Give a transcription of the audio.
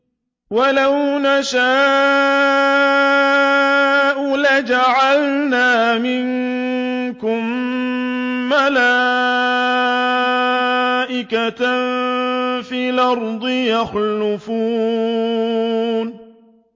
وَلَوْ نَشَاءُ لَجَعَلْنَا مِنكُم مَّلَائِكَةً فِي الْأَرْضِ يَخْلُفُونَ